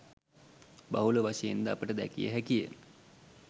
බහුල වශයෙන්ද අපට දැකිය හැකිය.